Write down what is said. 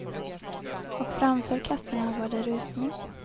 Och framför kassorna var det rusning.